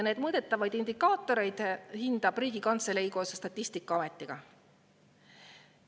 Neid mõõdetavaid indikaatoreid hindab Riigikantselei koos Statistikaametiga.